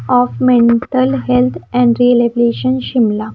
Of mental health एनर्विलेशन शिमला।